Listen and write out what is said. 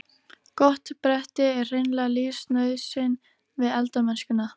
Gott bretti er hreinlega lífsnauðsyn við eldamennskuna.